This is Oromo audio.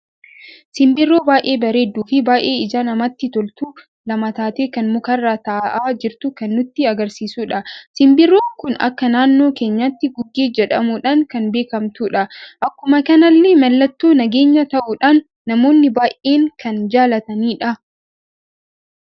Simbirroo baay'ee bareeddu fi baay'ee ija namatti toltu lama taatee kan mukarra taa'aa jirtu kan nutti agarsiisuudha. Simbirroon kun akka naannoo keenyaatti gugee jedhamudhan kan beekamtudha. Akkuma kanallee mallattoo nageenya ta'uudhan namoonni baay'een kan jaallatanidha.